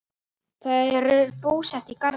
Þau eru búsett í Garði.